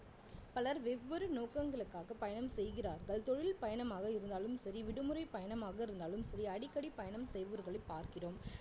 பலர் வெவ்வேறு நோக்கங்களுக்காக பயணம் செய்கிறார்கள் தொழில் பயணமாக இருந்தாலும் சரி விடுமுறை பயணமாக இருந்தாலும் சரி அடிக்கடி பயணம் செய்பவர்களை பார்க்கிறோம்